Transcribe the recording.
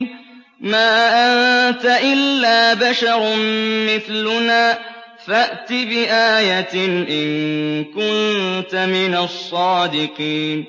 مَا أَنتَ إِلَّا بَشَرٌ مِّثْلُنَا فَأْتِ بِآيَةٍ إِن كُنتَ مِنَ الصَّادِقِينَ